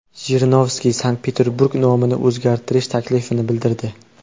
Jirinovskiy Sankt-Peterburg nomini o‘zgartirish taklifini bildirdi.